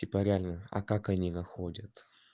типа реально а как они находят